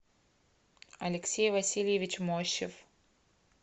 алексей васильевич мощев